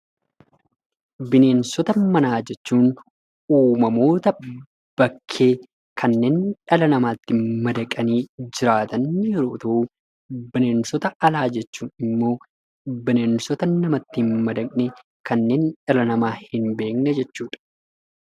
Bineensota manaa jechuun uumamoota bakkee kanneen dhala namaatti madaqanii jiraatan yeroo ta'u, bineensota alaa jechuun immoo bineensota namatti hin madaqne kanneen dhala namaa hin beekne jechuu dha.